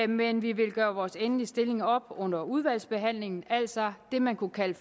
men vi vil gøre vores endelige stilling op under udvalgsbehandlingen altså det man kunne kalde